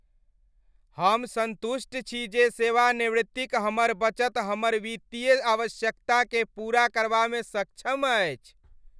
हम सन्तुष्ट छी जे सेवानिवृत्तिक हमर बचत हमर वित्तीय आवश्यकताकेँ पूरा करबामे सक्षम अछि।